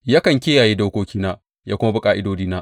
Yakan kiyaye dokokina ya kuma bi ƙa’idodina.